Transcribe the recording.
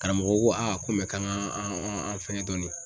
Karamɔgɔ ko a ko k'an ka an an fɛngɛ dɔɔnin.